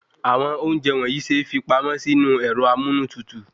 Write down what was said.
Àwọn ounjẹ wọnyii se fi pamọ́ sinu ẹ̀rọ amunu tutu